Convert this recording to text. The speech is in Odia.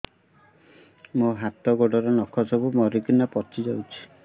ମୋ ହାତ ଗୋଡର ନଖ ସବୁ ମରିକିନା ପଚି ଯାଉଛି